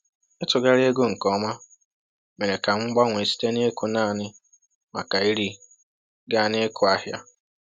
Ịtụgharị ego nke ọma mere ka m gbanwee site n’ịkụ naanị maka iri gaa n’ịkụ ahịa.